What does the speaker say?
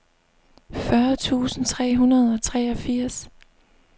fyrre tusind tre hundrede og treogfirs